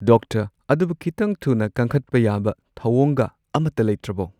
doctor ꯑꯗꯨꯕꯨ ꯈꯤꯇꯪ ꯊꯨꯅ ꯀꯪꯈꯠꯄ ꯌꯥꯕ ꯊꯧꯑꯣꯡꯒ ꯑꯃꯠꯇ ꯂꯩꯇ꯭ꯔꯕꯣ